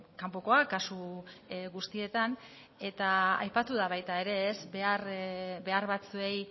kanpokoa kasu guztietan eta aipatu da baita ere behar batzuei